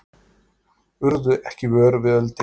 Urðu ekki vör við eldinn